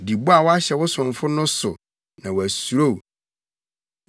Di bɔ a woahyɛ wo somfo no so, na wasuro wo.